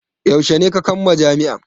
Yaushe ne ka kamma jami'a?